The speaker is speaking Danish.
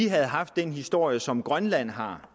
havde haft den historie som grønland har